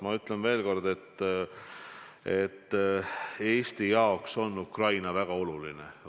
Ma ütlen veel kord, et Eesti jaoks on Ukraina väga oluline.